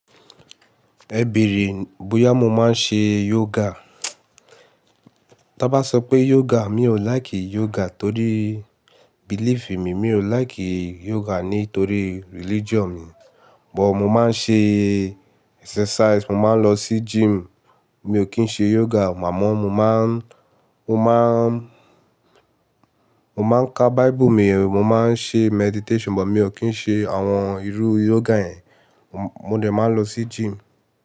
Ẹ bèèrè bóyá mo máa ń ṣe yoga? Tán bá sọ pé yoga, mi ò láìkì yoga torí belief mi. Mi ò láìkì yoga nítorí religion mi, but mo máa ń ṣe exercise, mo máa ń lọ sí gym. Mi ò kí ń ṣe yoga, màá mọ́ mo máa ń, mo máa ń, mo máa ń ka Bible mi, mo máa ń ṣe meditation, but mi ò kí ń ṣe àwọn irú yoga yẹn. Mo dẹ̀ máa ń lọ sí gym.